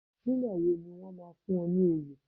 Nígbà wo ni wọ́n máa fún ọ ní oyè